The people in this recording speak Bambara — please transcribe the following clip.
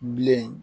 Bilen